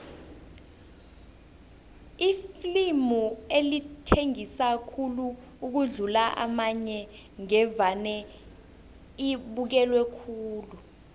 iflimu elithengisa khulu ukudlula amanye ngevane libukelwe khulu